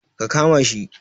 Ka kama shi